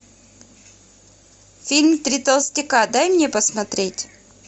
фильм три толстяка дай мне посмотреть